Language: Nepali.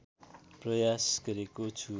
प्रयास गरेको छु